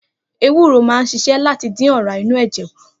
Ewúrò máa ń s̩is̩é̩ láti dín ò̩rá inú è̩jè̩ kù